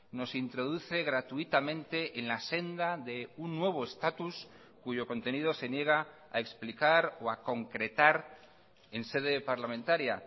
nos introduce gratuitamente en la senda de un nuevo estatus cuyo contenido se niega a explicar o a concretar en sede parlamentaria